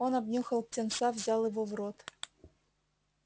он обнюхал птенца взял его в рот